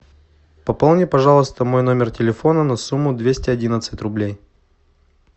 пополни пожалуйста мой номер телефона на сумму двести одиннадцать рублей